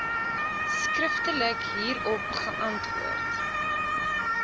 skriftelik hierop geantwoord